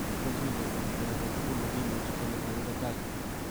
"Kiborchinigei en or agetugul nekimuche kele kakibe tai."